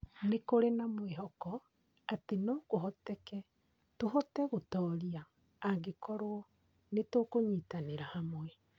Nĩ kũrĩ na mwĩhoko atĩ no kũhoteke tũhote gũtooria angĩkorũo nĩ tũkũnyitanĩra hamwe.